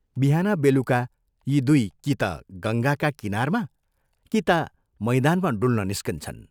बिहान बेलुका यी दुइ कि ता गङ्गाका किनारमा कि ता मैदानमा डुल्न निस्कन्छन्।